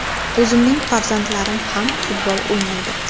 O‘zimning farzandlarim ham futbol o‘ynaydi.